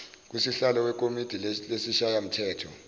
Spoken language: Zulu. kusihlalo wekomidi lesishayamthetho